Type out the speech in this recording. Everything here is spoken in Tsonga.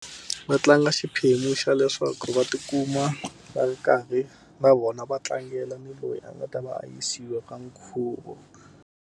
Va tlanga xiphemu xa leswaku va ti kuma va ri karhi na vona va tlangela ni loyi a nga ta va a yisiwa ka nkhuvo.